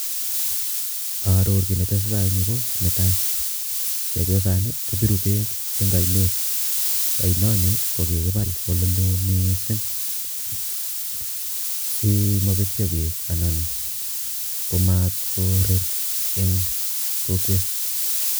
Aaror kiit ne tesetai eng yu ko netai, chepyosani kopiiru beek eng ainet, ainoni ko kikipaal ole loo mising simapetyo beek anan komatkorer eng kokwet.